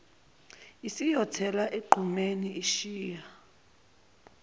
isiyosithela egqumeni ishiya